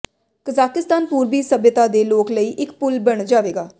Kazakhstan ਪੂਰਬੀ ਸਭਿਅਤਾ ਦੇ ਲੋਕ ਲਈ ਇਕ ਪੁਲ ਬਣ ਜਾਵੇਗਾ